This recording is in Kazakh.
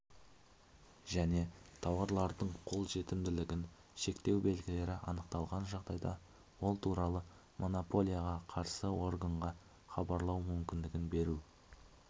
және тауарлардың қолжетімділігін шектеу белгілері анықталған жағдайда ол туралы монополияға қарсы органға хабарлау мүмкіндігін беру